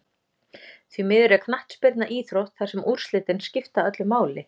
Því miður er knattspyrna íþrótt þar sem úrslitin skipta öllu máli.